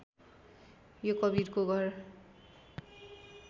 यो कवीरको घर